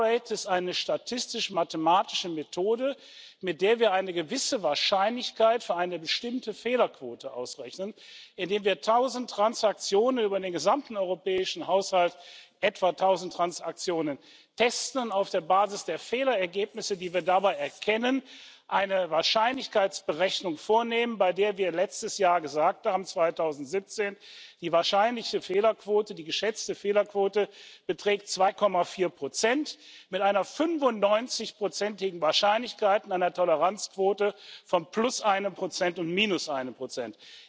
Die error rate ist eine statistisch mathematische Methode, mit der wir eine gewisse Wahrscheinlichkeit für eine bestimmte Fehlerquote ausrechnen, indem wir tausend Transaktionen über den gesamten europäischen Haushalt etwa tausend Transaktionen testen und auf der Basis der Fehlerergebnisse, die wir dabei erkennen, eine Wahrscheinlichkeitsberechnung vornehmen, bei der wir letztes Jahr, 2017, gesagt haben, die wahrscheinliche Fehlerquote, die geschätzte Fehlerquote beträgt 2,4 Prozent mit einer 95 igen Wahrscheinlichkeit und einer Toleranzquote von plus einem Prozent und minus einem Prozent.